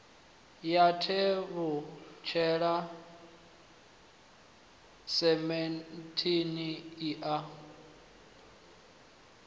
ya tevhutshela semenndeni i a